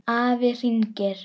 Afi hringir